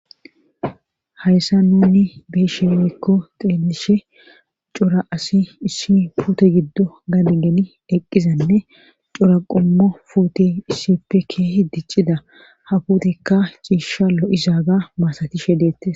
hayssa nunni be7ishe woykko xeellishe cora asi issi puute giddo gade geli eqqizanne cora qommo puute issippe kehi diccida ha puutekka ciisha lo7izaaga maasatishe deettes.